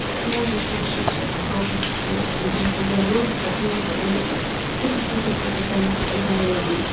можешь решить сейчас пробник по огэ по биологии как минимум потому что ты прошла только ботанику и зоологию